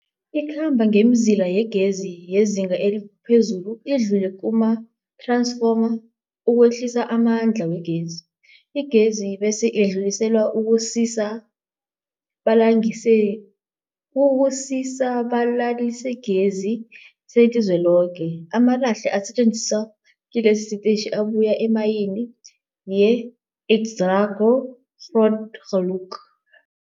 Ikhamba ngemizila yegezi yezinga eliphezulu idlule kumath-ransfoma ukwehlisa amandla wegezi. Igezi bese idluliselwa kusisa-balalisigezi selizweloke. Amalahle asetjenziswa kilesi sitetjhi abuya emayini yeExxaro's Grootgeluk.